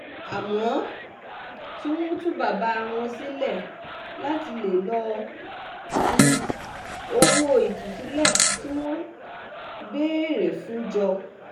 àmọ́ tí wọ́n tú bàbá wọn sílẹ̀ láti lè lọ́ọ́ tú owó ìtúsílẹ̀ tí wọ́n béèrè fún jọ